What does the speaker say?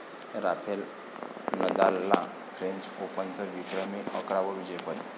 Rafale नदालला French ओपनचं विक्रमी अकरावं विजेतेपद